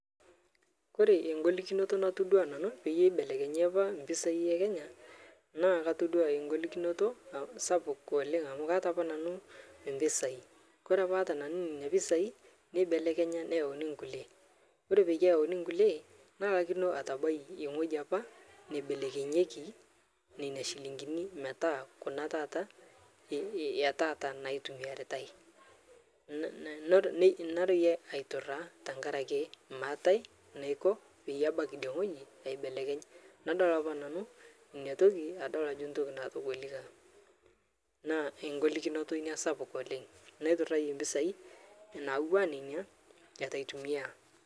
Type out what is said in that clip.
Kore engolikinotoo natodua nanu peyie eibelenyii apaa mpisai ekenya naa katodua eng'olikinoto sapuk oleng amu kaata apa nanuu mpisai. Kore apaa aata nanuu nenia pisai neibelekenya neyaunii nkulie kore peiyee eyaunii nkulie nalakinoo atabai engoji apaa neibelekenyiekii nenia shilinginii metaa kuna taata etaata naitumiaritai neroyie aituraa tankarakee maatai naiko peyie abaki idie ng'hoji aibelekeny nadol apaa nanuu inia tokii adol ajo ntoki natogolikaa naa eng'olikinotoo inia sapuk oleng' naituraiye mpisai nawaa nenia etuu aitumiyaa.